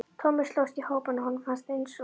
Tommi slóst í hópinn og honum fannst eins og